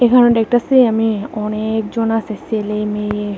এখানেও ডেকটাসি আমি অনেক জন আসে সেলে মেয়ে।